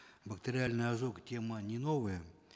бактериальный ожог тема не новая